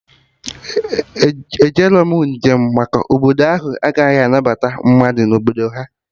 Ejerọ m njem maka na Obodo ahụ anaghị anabata mmadụ na Obodo ha